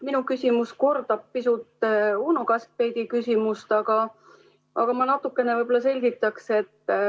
Minu küsimus kordab pisut Uno Kaskpeiti küsimust, aga ma natukene võib-olla selgitan.